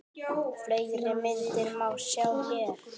Fleiri myndir má sjá hér